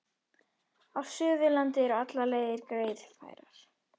Á Suðurlandi eru allar leiðir greiðfærar